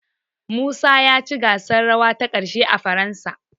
Musa ya ci gasar rawa ta ƙarshe a Faransa.